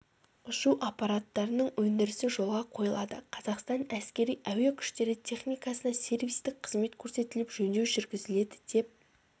ұшу аппараттарының өндірісі жолға қойылады қазақстан әскери-әуе күштері техникасына сервистік қызмет көрсетіліп жөндеу жүргізіледі деп